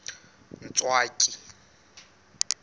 ntswaki